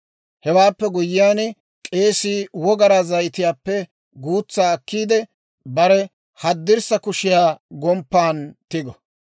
Hewaappe guyyiyaan, k'eesii wogaraa zayitiyaappe guutsaa akkiide, bare haddirssa kushiyaa gomppan tigo.